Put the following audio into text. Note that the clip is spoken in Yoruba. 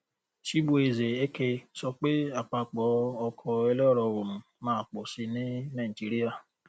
chibueze eke sọ pé àpapọ oko ẹlẹrọoòrùn máa pọ síi ní nàìjíríà